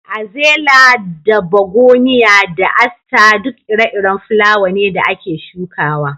Azela da Begoniya da Aster duk ire-iren fulawa ne da ake shukawa.